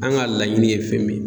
An ka laɲini ye fɛn min ye